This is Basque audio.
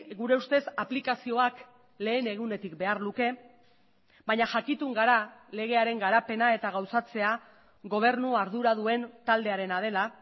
gure ustez aplikazioak lehen egunetik behar luke baina jakitun gara legearen garapena eta gauzatzea gobernu ardura duen taldearena dela